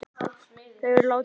Þau eru látin.